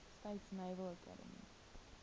states naval academy